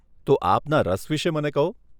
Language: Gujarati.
તો આપના રસ વિષે મને કહો.